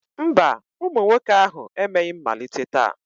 Mba, ụmụ nwoke ahụ emeghị mmalite taa